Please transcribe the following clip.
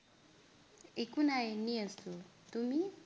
একো নাই এনেই আছো, তুমি?